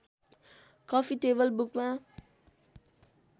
coffee table बुकमा